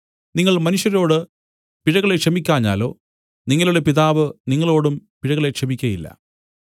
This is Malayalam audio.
നിങ്ങൾ മനുഷ്യരോടു പിഴകളെ ക്ഷമിക്കാഞ്ഞാലോ നിങ്ങളുടെ പിതാവ് നിങ്ങളോടും പിഴകളെ ക്ഷമിക്കയില്ല